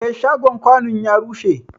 Eh, shagon kwanun ya rushe.